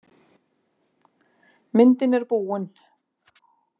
Myndin er búin.